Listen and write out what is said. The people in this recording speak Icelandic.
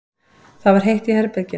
Það var heitt í herberginu.